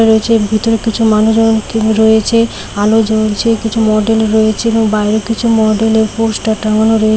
রয়েছেন কিছু ভেতরে কিছু মানুষজন ঠিক রয়েছে আলো জ্বলছে কিছু মডেল রয়েছে এবং বাইরে কিছু মডেল এর পোস্টার টাঙানো রয়ে--